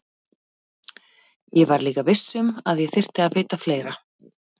Ég var líka viss um að ég þyrfti að vita fleira.